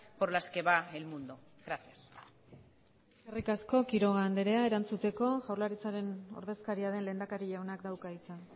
por las que va el mundo gracias eskerrik asko quiroga andrea erantzuteko jaurlaritzaren ordezkaria den lehendakari jaunak dauka hitza